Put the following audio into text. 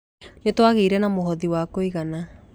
Nĩtwagĩire na mũhothi wa kũigana.